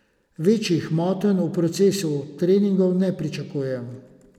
Večjih motenj v procesu treningov ne pričakujem.